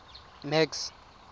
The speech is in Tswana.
max